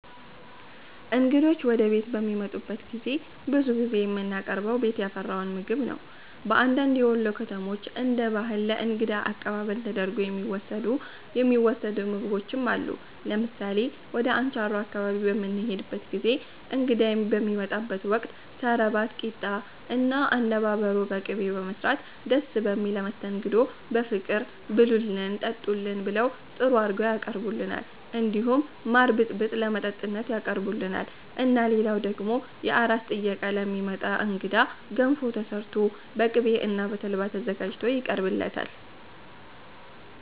እንግዶች ወደ ቤት በሚመጡበት ጊዜ ብዙ ጊዜ የምናቀርበው ቤት ያፈራውን ምግብ ነው በአንዳንድ የወሎ ከተሞች እንደ ባህል ለ እንግዳ አቀባበል ተደርጎ የሚወሰዱ ምግቦችም አሉ ለምሳሌ ወደ አንቻሮ አካባቢ በምንሄድበት ጊዜ እንግዳ በሚመጣበት ወቅት ሰረባት ቂጣ እና አነባበሮ በቅቤ በመስራት ደስ በሚል መስተንግዶ በፍቅር ብሉልን ጠጡልን ብለው ጥሩ አርገው ያቀርቡልናል እንዲሁም ማር ብጥብጥ ለመጠጥነት ያቀርቡልናል እና ልላው ደግሞ የአራስ ጥየቃ ለሚመጣ እንግዳ ገንፎ ተሰርቶ በቅቤ እና በተልባ ተዘጋጅቶ ይቀርብለታል